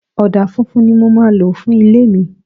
Ọ̀dà funfun ni mo máa lò fún ilé mi.